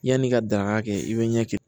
Yanni i ka danka kɛ i bɛ ɲɛ kɛ